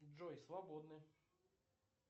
джой свободны